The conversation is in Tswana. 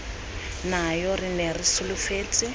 nayo re ne re solofetse